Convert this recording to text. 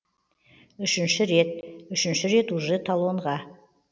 үшінші рет үшінші рет уже талонға